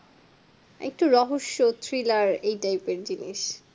একটু রহস্য thriller এই type জিনিস